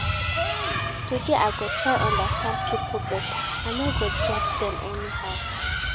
Today I go try understand pipo beta, I no go judge dem anyhow.